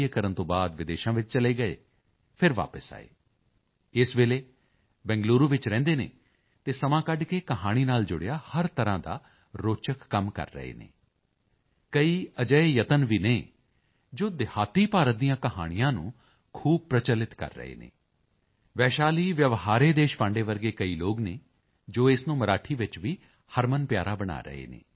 ਕਰਨ ਤੋਂ ਬਾਅਦ ਵਿਦੇਸ਼ਾਂ ਵਿੱਚ ਚਲੇ ਗਏ ਫਿਰ ਵਾਪਸ ਆਏ ਇਸ ਵੇਲੇ ਬੰਗਲੁਰੂ ਵਿੱਚ ਰਹਿੰਦੇ ਹਨ ਅਤੇ ਸਮਾਂ ਕੱਢ ਕੇ ਕਹਾਣੀ ਨਾਲ ਜੁੜਿਆ ਹਰ ਤਰ੍ਹਾਂ ਦਾ ਰੋਚਕ ਕੰਮ ਕਰ ਰਹੇ ਹਨ ਕਈ ਅਜਿਹੇ ਯਤਨ ਵੀ ਹਨ ਜੋ ਗ੍ਰਾਮੀਣ ਭਾਰਤ ਦੀਆਂ ਕਹਾਣੀਆਂ ਨੂੰ ਖੂਬ ਪ੍ਰਚੱਲਿਤ ਕਰ ਰਹੇ ਹਨ ਵੈਸ਼ਾਲੀ ਵਯਵਹਾਰੇ ਦੇਸ਼ਪਾਂਡੇ ਵਰਗੇ ਕਈ ਲੋਕ ਨੇ ਜੋ ਇਸ ਨੂੰ ਮਰਾਠੀ ਵਿੱਚ ਵੀ ਹਰਮਨਪਿਆਰਾ ਬਣਾ ਰਹੇ ਹਨ